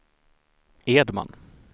Edman